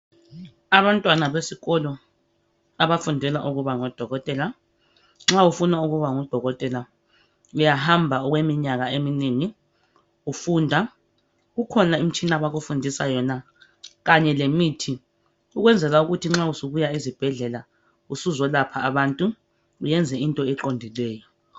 Abantwana besikolo abafundela ukuba ngodokotela. Nxa ufuna ukuba nguDokotela, uyahamba okweminyaka eminengi ufunda. Kukhona imitshina abakufundisa yona, kanye lemithi ukwenzela ukuthi nxa usubuya esibhedlela usuzolapha abantu uyenze into eqondileyo.